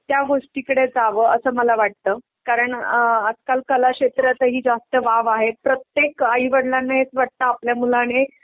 त्या गोष्टीकडे जावं असं मला वाटतं. कारण अ आजकाल कलाक्षेत्रातही जास्त वाव आहे. प्रत्येक आई वडिलांना हेच वाटतं आपल्या मुलांने